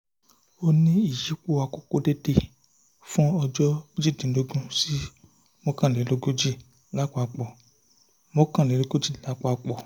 ó ní ìyípo àkókò déédéé fún ọjọ́ méjìdínlọ́gbọ̀n sí mọ́kànlélógójì lápapọ̀ mọ́kànlélógójì lápapọ̀